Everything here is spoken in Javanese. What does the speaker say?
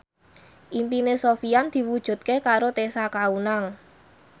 impine Sofyan diwujudke karo Tessa Kaunang